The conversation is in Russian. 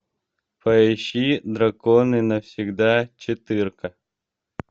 поищи драконы навсегда четырка